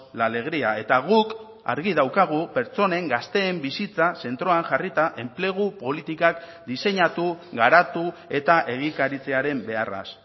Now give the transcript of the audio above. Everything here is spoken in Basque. la alegría eta guk argi daukagu pertsonen gazteen bizitza zentroan jarrita enplegu politikak diseinatu garatu eta egikaritzearen beharraz